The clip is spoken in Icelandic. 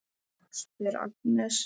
spyr Agnes.